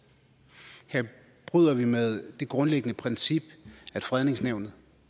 bryder vi med det grundlæggende princip at fredningsnævnet